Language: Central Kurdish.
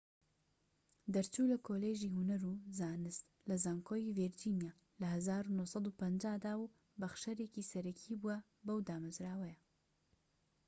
دەرچوو لە کۆلیژی هونەر و زانست لە زانکۆی ڤیرجینیا لە ١٩٥٠ دا و بەخشەرێکی سەرەکی بووە بەو دامەزراوەیە